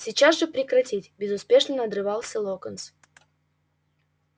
сейчас же прекратить безуспешно надрывался локонс